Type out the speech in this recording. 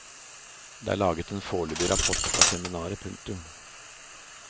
Det er laget en forløpig rapport fra seminaret. punktum